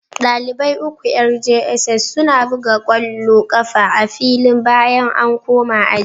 dalibai uku yar jss suna buga kwallo kafa a filin bayan an koma aji